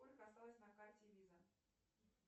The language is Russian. сколько осталось на карте виза